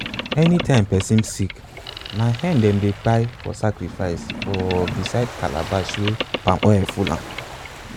anytime person sick na hen them dey kpai for sacrifice for beside calabash wey palm oil full am.